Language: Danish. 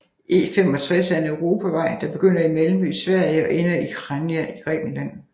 E65 er en europavej der begynder i Malmø i Sverige og ender i Chania i Grækenland